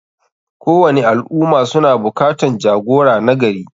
Kowani al ummah suna bukatan jagora nagari.